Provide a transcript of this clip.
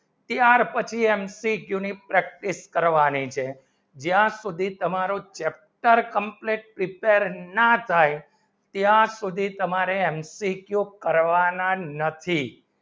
ત્યાર પછી MCQ ની practice કરવાની છે જ્યાં સુધી તમારો chapter complete ના થાય ત્યાં સુધી તમારે MCQ કરવાના નથી